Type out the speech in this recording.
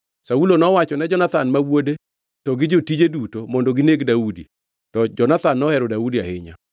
Saulo nowachone Jonathan ma wuode to gi jotije duto mondo gineg Daudi. To Jonathan nohero Daudi ahinya,